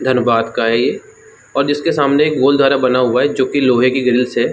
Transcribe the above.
धनबाद का है ये और जिसके सामने बना हुआ है जो कि लोहे की ग्रिल्स है।